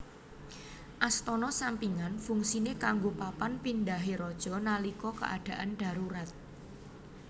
Astana sampingan fungsine kanggo papan pindhahe raja nalika keadaan darurat